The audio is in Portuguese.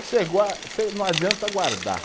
Você não adianta guardar.